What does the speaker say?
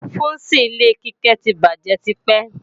Fúùsì ilé Kíkẹ́ ti bàjé tipẹ́